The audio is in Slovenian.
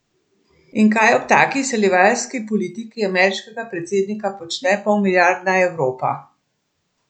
In kaj ob taki izsiljevalski politiki ameriškega predsednika počne polmilijardna Evropa?